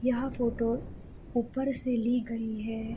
यह फोटो ऊप्पर से ली गयी है।